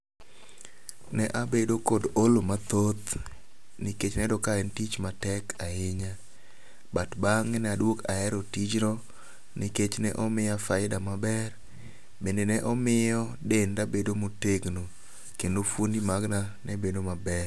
Ne abedo kod olo mathoth nikech nayudo ka en tich matek ahinya. But bang'e ne aduogo ahero tijno nikech ne omiya faida maber. Bende ne omiyo denda bedo motegono kendo fuondi maga ne bedo maber.